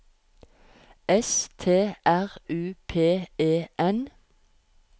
S T R U P E N